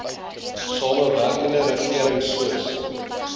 samewerkende regering soos